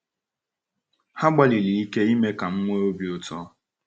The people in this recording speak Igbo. Ha gbalịrị ike ime ka m nwee obi ụtọ.